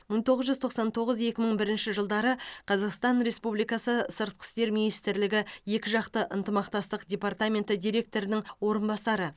мың тоғыз жүз тоқсан тоғыз екі мың бірінші жылдары қазақстан республикасы сыртқы істер министрлігі екіжақты ынтымақтастық департаменті директорының орынбасары